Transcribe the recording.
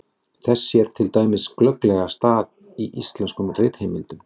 Þess sér til dæmis glögglega stað í íslenskum ritheimildum.